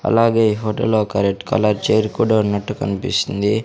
అలాగే ఈ హోటల్లో ఒక రెడ్ కలర్ చైర్ కూడా ఉన్నట్టు కన్పిస్తుంది.